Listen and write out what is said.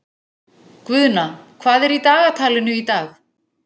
Guðna, hvað er í dagatalinu í dag?